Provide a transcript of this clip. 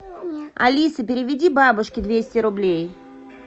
алиса переведи бабушке двести рублей